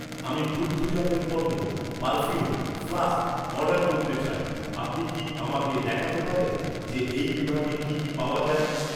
আমি দুগ্ধজাত পণ্য, পারফিউম, ফ্লাস্ক অর্ডার করতে চাই, আপনি কি আমাকে দেখাতে পারেন যে এই বিভাগে কি কি পাওয়া যায়?